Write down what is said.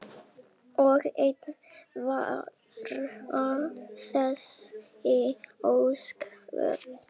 Og enn vara þessi ósköp.